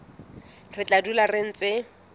re tla dula re ntse